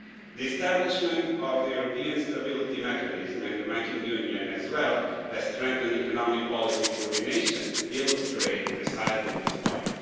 The establishment of the European Stability Mechanism and the banking union has strengthened economic policy coordination, which illustrates precisely this point.